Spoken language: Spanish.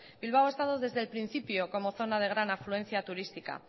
bilbao ha estado desde el principio como zona de gran afluencia turística